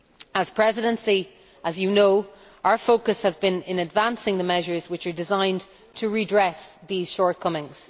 As the Presidency, as you know, our focus has been in advancing the measures which are designed to redress those shortcomings.